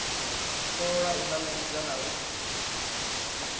thola u nanguludza na u